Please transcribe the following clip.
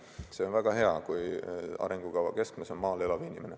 See on väga hea, kui arengukava keskmes on maal elav inimene.